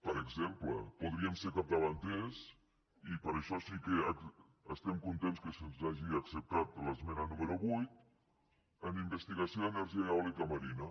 per exemple podríem ser capdavanters i per això sí que estem contents que se’ns hagi acceptada l’esmena número vuit en investigació d’energia eòlica marina